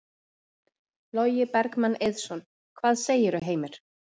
Logi Bergmann Eiðsson: Hvað segirðu, Heimir?